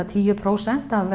tíu prósent af